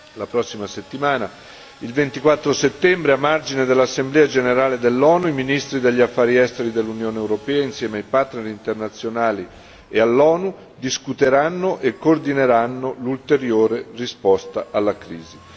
La prossima settimana, il 24 settembre, a margine dell'assemblea generale dell'ONU i ministri degli Affari esteri dell'Unione europea insieme ai partner internazionali e all'ONU discuteranno e coordineranno l'ulteriore risposta alla crisi.